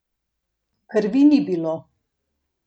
Krvi ni bilo.